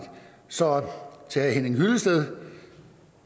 så til herre henning hyllested